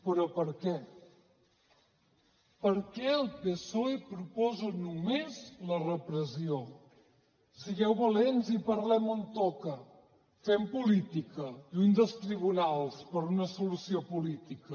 però per què per què el psoe proposa només la repressió sigueu valents i parlem on toca fem política lluny dels tribunals per a una solució política